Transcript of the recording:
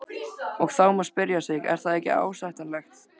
Og þá má spyrja sig, er það ásættanlegt?